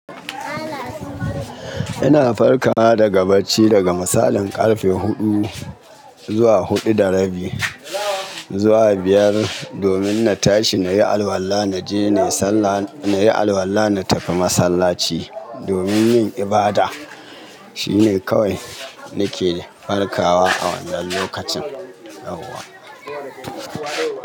Ina farka na daga bacci daga misalin ƙarfe huɗu zuwa huɗu da rabi zuwa biyar, domin na tashi na yi alwala na je na yi alwala na tafi masallaci domin yin ibada. Shine kawai nake farkawa a wannan lokacin.